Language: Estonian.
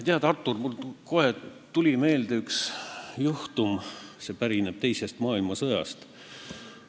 Tead, Artur, mulle tuli kohe meelde üks juhtum teisest maailmasõjast.